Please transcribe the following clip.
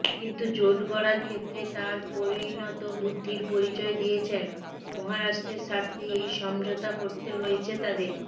কিন্তু জোট গড়ার ক্ষেত্রে তাঁরা পরিণতবুদ্ধির পরিচয় দিয়েছেন মহারাষ্ট্রের স্বার্থেই এই সমঝোতা করতে হয়েছে তাদের